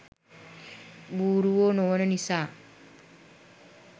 බූරුවො නොවන නිසා.